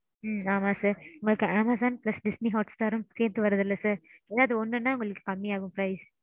ம்ம் ஆமா sir. உங்களுக்கு Amazon plus Disney Hotstar ரும் சேந்து வருதுலே sir. ஏதாவது ஒன்னுனா உங்களுக்கு கம்மியாகும் price